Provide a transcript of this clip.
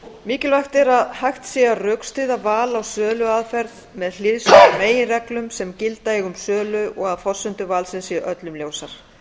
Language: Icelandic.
mikilvægt er að hægt sé að rökstyðja val á söluaðferð með hliðsjón af meginreglum sem gilda eiga um sölu og að forsendur valsins séu öllum ljósar